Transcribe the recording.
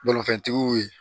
Balo fɛntigiw ye